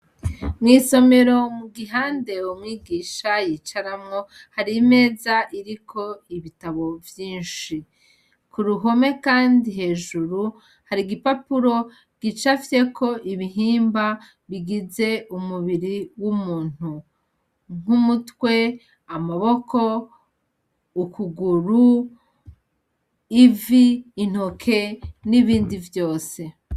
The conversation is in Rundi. Mw'isomero mu gihandewe mwigisha yicaramwo hari meza iriko ibitabo vyinshi ku ruhome, kandi hejuru hari igipapuro gica afyeko ibihimba bigize umubiri w'umuntu nk'umutwe amaboko ukuguru ivi intoke n'ibindi vyose.